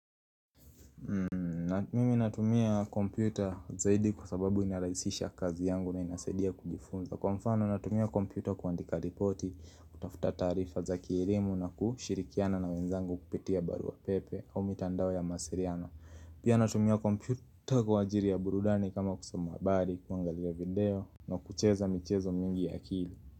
Na mimi natumia kompyuta zaidi kwa sababu inarahisisha kazi yangu na inasaidia kujifunza, kwa mfano natumia kompyuta kuandika ripoti, kutafuta taarifa za kielimu na kushirikiana na wenzangu kupitia barua pepe au mitandao ya mawasiliano Pia natumia kompyuta kwa ajili ya burudani kama kusoma habari kuangalia video na kucheza michezo mingi ya akili.